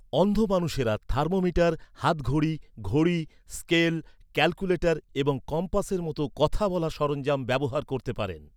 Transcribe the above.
অন্ধ মানুষেরা থার্মোমিটার, হাতঘড়ি, ঘড়ি, স্কেল, ক্যালকুলেটর এবং কম্পাসের মতো কথা বলা সরঞ্জাম ব্যবহার করতে পারেন।